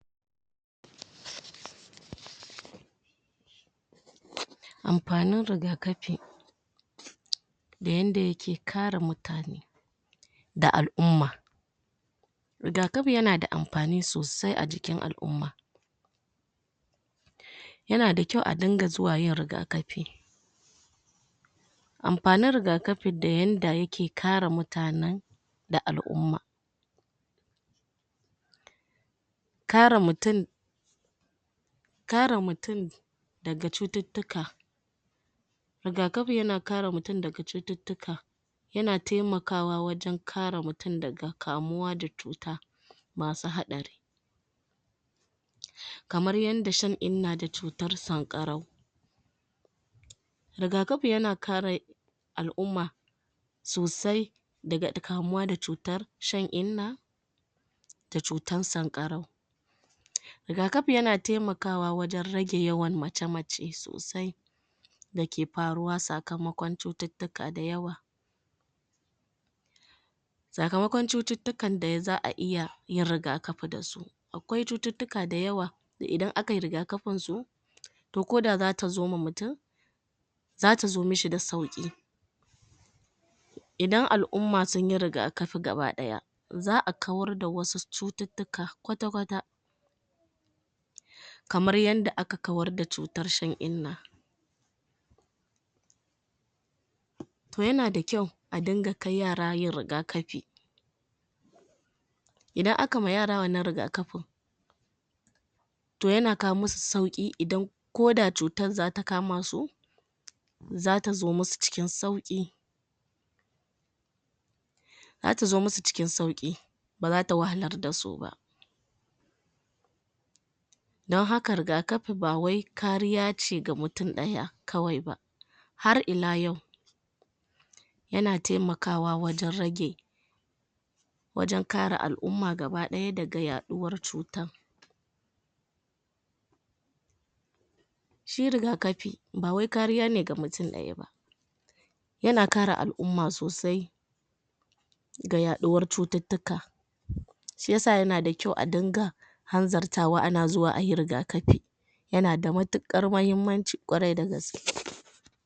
amfa nin rigafi da yadda yake kare mutane da al-umma rigakafi yana da amfani sosai a jikin al-umma yana da kyau a rinka zuwa rigakafi amfanin rigakafi da yadda yake kare mutane da al-umma kare mutum kare mutum daga cututtuka rigakafi yana kare mutum daga cututtuka yana temaka wa wajen kare mutum daga kamuwa da cuta cuta masu hadari kamar yadda shan inna da cutar sankarau rigakafi yana kare al-umma sosai daga kamuwa da cutar shan inna cutar sankarau rigakafi yana taimakawa wajen rage yawan mace-mace sosai dake faruwa sakamakon cututtuka da yawa sakamakon cututtukan dai za;a iya yin rigafi da su akwai cututtuka dayawa da idan akayi rigakafin su to koda zata zoma mutum zata zo mashi da sauki idan al-umma sunyi rigafi gabadaya za'a kawar da wasu cututtuka kwata-kwata kamar yadda aka kawar da cutar shan inna to yanada kyau a ringa kai yara yin rigakafi idan akama yara wannan rigakafin to yana kawo masu sau idan koda cutar zata kamasu zata zo masu cikin sauki zata zo masu cikin sauki ba zata wahalar da suba don haka rigkafi ba wai kariya ce ga mutum daya kawai ba har ila yau yana temakawa wajen rage wajen kare al-umma gabadaya daga yaduwar cutar shi rigakafi bawai kariya ne ga mutum daya ba yana kare al-umma sosai ga yaduwar cututtuka shiyasa yana da kyau a dinga hanzar tawa ana zuwa ayi rigakafi yana da matukar muhimmanci kwarai da gaske